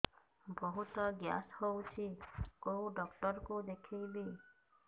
ବହୁତ ଗ୍ୟାସ ହଉଛି କୋଉ ଡକ୍ଟର କୁ ଦେଖେଇବି